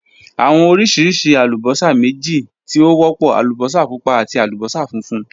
Awọn oriṣi alubosa meji ti o wọpọ: alubosa pupa ati alubosa funfun.